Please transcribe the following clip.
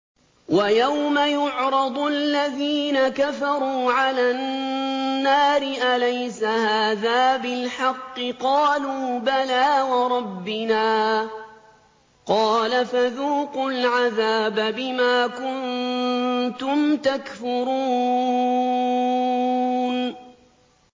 وَيَوْمَ يُعْرَضُ الَّذِينَ كَفَرُوا عَلَى النَّارِ أَلَيْسَ هَٰذَا بِالْحَقِّ ۖ قَالُوا بَلَىٰ وَرَبِّنَا ۚ قَالَ فَذُوقُوا الْعَذَابَ بِمَا كُنتُمْ تَكْفُرُونَ